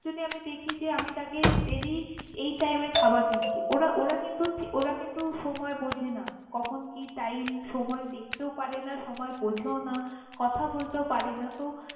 যদি আমি দেখি যে আমি তাকে daily এই time এ খাবার দিছি ওরা ওরা কিন্তু ওরা কিন্তু সময় বোঝে না কখন কি time সময় দেখেতও পারে না সময় বোঝেও না কথা বলতেও পারে না তহ।